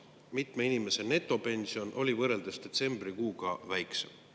Kui mitme inimese netopension oli väiksem kui detsembrikuu?